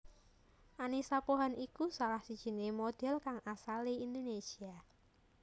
Annisa Pohan iku salah sijiné modhél kang asalé Indonésia